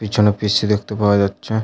পিছনে P. C. দেখতে পাওয়া যাচ্ছে।